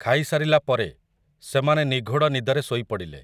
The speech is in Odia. ଖାଇସାରିଲା ପରେ, ସେମାନେ ନିଘୋଡ଼ ନିଦରେ ଶୋଇ ପଡ଼ିଲେ ।